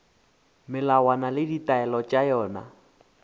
melawana le ditaelo tša yona